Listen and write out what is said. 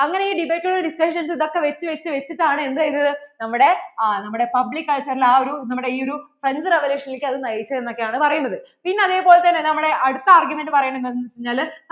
discussions ഇതൊക്കെ വെച്ച് വെച്ച് വെച്ചിട്ടാണ് എന്ത് ചെയ്തത് നമ്മടെ ആ നമ്മടെ public culture എ ഒരു നമ്മടെ ഇ ഒരു French revolution നിലേക്കു അതു നയിച്ചേ എന്ന് ഒക്കെയാണ് പറയുന്നത് പിന്നേ അതേ പോലെ നമ്മടെ അടുത്ത argument പറയുന്നത് എന്താണ് വെച്ചാൽ